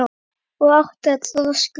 og átti að troða strý